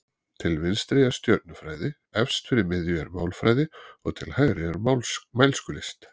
Til vinstri er stjörnufræði, efst fyrir miðju er málfræði og til hægri er mælskulist.